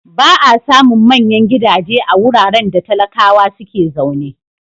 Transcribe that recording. Ba a samun manyan gidaje a wuraren da talakawa suke zaune.